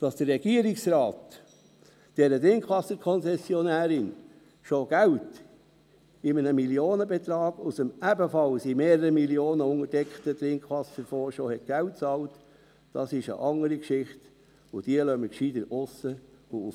Dass der Regierungsrat dieser Trinkwasserkonzessionärin schon Geld in einem Millionenbetrag aus dem ebenfalls um mehrere Mio. Franken untergedeckten Trinkwasserfonds bezahlt hat, ist eine andere Geschichte, und diese lassen wir besser aussen vor;